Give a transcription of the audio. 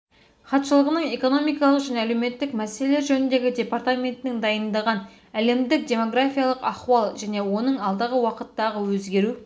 хатшылығының экономикалық және әлеметтік мәселелер жөніндегі департаментінің дайындаған әлімдік демографиялық ахуал және оның алдағы уақыыттағы өзгеру